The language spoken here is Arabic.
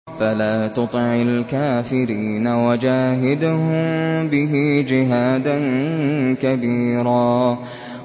فَلَا تُطِعِ الْكَافِرِينَ وَجَاهِدْهُم بِهِ جِهَادًا كَبِيرًا